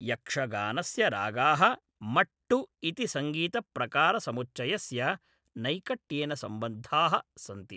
यक्षगानस्य रागाः मट्टु इति सङ्गीतप्रकारसमुच्चयस्य नैकट्येन सम्बद्धाः सन्ति।